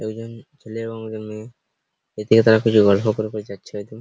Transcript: একজন ছেলে এবং একজন মেয়ে এর দিকে তারা কিছু গল্প করে করে যাচ্ছে হয়তো।